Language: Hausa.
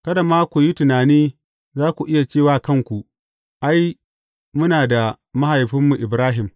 Kada ma ku yi tunani za ku iya ce wa kanku, Ai, muna da mahaifinmu Ibrahim.’